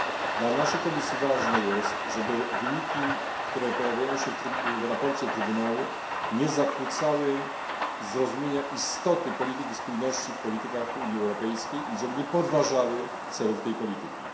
Dla naszej komisji ważne jest, żeby wyniki, które pojawiają się w sprawozdaniu Trybunału, nie zakłócały zrozumienia istoty polityki spójności w politykach Unii Europejskiej i żeby nie podważały celów tej polityki.